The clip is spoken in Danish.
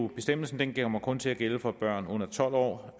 bestemmelsen kommer kun til at gælde for børn under tolv år